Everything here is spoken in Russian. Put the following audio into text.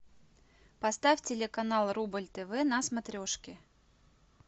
поставь телеканал рубль тв на смотрешке